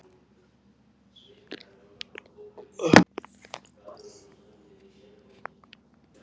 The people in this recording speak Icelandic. En um leið og við erum komnir framhjá hinu hefðbundna